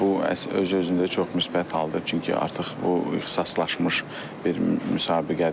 Bu öz-özlüyündə çox müsbət haldır, çünki artıq bu ixtisaslaşmış bir müsabiqədir.